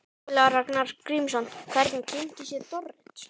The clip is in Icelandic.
Ólafur Ragnar Grímsson: Hvernig kynntist ég Dorrit?